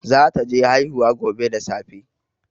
Zata je haihuwa gobe da safe